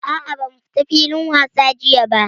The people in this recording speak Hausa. A'a ba mu fita wasa filin wasa jiya ba.